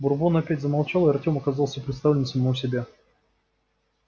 бурбон опять замолчал и артем оказался предоставлен самому себе